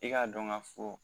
I k'a dɔn k'a fɔ